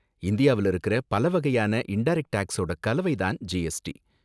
இந்தியாவுல இருக்குற பல வகையான இன்டரக்ட் டேக்ஸோட கலவை தான் ஜிஎஸ்டி.